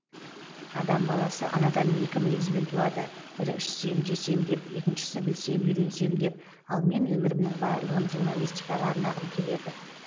адам баласы анадан екі мінезбен туады бірі ішсем жесем деп екіншісі білсем үйренсем деп ал мен өмірімнің барлығын журналистикаға арнағым келеді